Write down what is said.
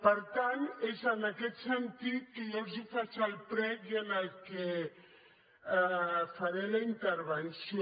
per tant és en aquest sentit que jo els faig el prec i faré la intervenció